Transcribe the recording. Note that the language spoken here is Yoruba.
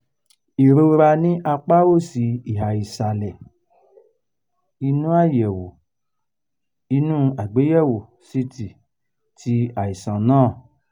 ìrora ní apá òsì ìhà ìsàlẹ̀ inu àyẹ̀wò inu àgbéyẹ̀wò ct ti àìsàn náà